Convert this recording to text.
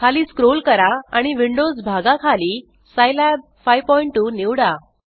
खाली स्क्रोल करा आणि विंडोस भागा खाली सिलाब 52 निवडा